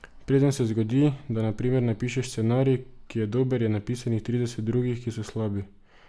Preden se zgodi, da na primer napišeš scenarij, ki je dober, je napisanih trideset drugih, ki so slabi.